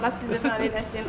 Allah sizi var eləsin.